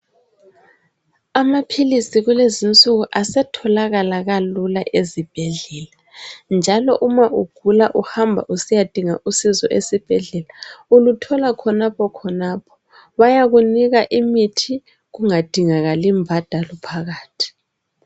Amaphlisi kulezinsuku asetholakala kalula ezibhedlela njalo uma ugula uhamba usiyadinga usizo esibhedlela uluthola khonapho khonapho bayakunika imithi kungadingakali mbhadalo phakathi